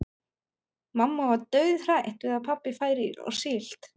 Mamma var dauðhrædd við að pabbi færi á síld.